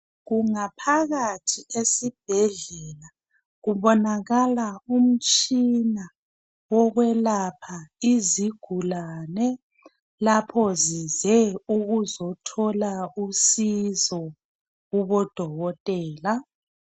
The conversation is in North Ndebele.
Kungaphakathi esibhedlela kubonakala umtshina okwelapha izigulane lapho zize ukuzothola usizo kubo dokotela.